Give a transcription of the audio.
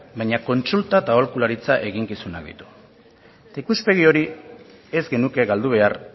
baina kontsulta eta aholkularitza eginkizunak ditu eta ikuspegi hori ez genuke galdu behar